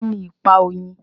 Kíni ipa oyin?